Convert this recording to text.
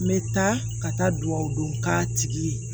N bɛ taa ka taa dugawu dun k'a tigi ye